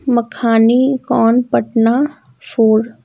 Makhani kuan Patna four --